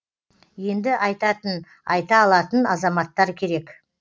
енді айтатын айта алатын азаматтар керек